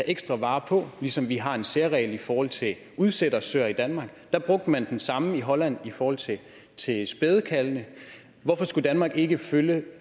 ekstra vare på ligesom vi har en særregel i forhold til udsættersøer i danmark og der brugte man den samme i holland i forhold til spædekalvene hvorfor skulle danmark ikke følge